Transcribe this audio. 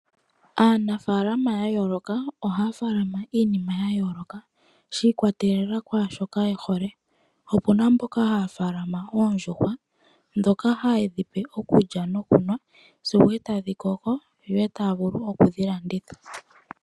Aanafalama ya yooloka ohaya faalama iinima ya yooloka, shiikwatelela kwaashoka yehohe. Opuna mboka haya faalama oondjuhwa, ndhoka haye dhi pe okulya nokunwa, sigo etadhi koko etaya vulu okudhi landitha po.